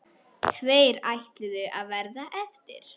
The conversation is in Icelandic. Tveir ætluðu að verða eftir.